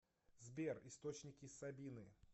сбер источники сабины